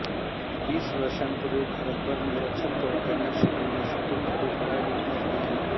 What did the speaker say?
वीस वर्षांपूर्वी भारतभर निरक्षर प्रौढांना शिकविण्यासाठी खडूफळा योजना सुरू झाली